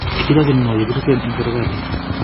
Kikichochin ngo yekirisen en serkalit?